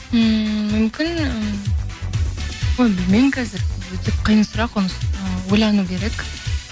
ммм мүмкін і ой білмеймін қазір өте қиын сұрақ оны ы ойлану керек